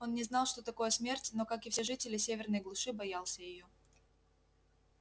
он не знал что такое смерть но как и все жители северной глуши боялся её